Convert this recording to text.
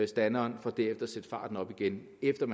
standeren for derefter at sætte farten op igen efter